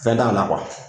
Fɛn t'a la